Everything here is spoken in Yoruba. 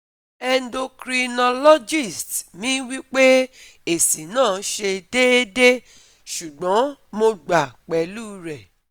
endocrinologist mi wipe esi na se deede, sugbon mo gba pelu re